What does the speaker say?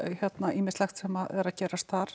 ýmislegt sem er að gerast þar